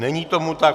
Není tomu tak.